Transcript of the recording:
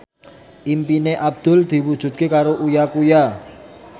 impine Abdul diwujudke karo Uya Kuya